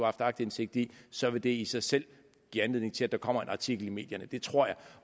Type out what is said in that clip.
haft aktindsigt i så vil det i sig selv give anledning til at der kommer en artikel i medierne det tror jeg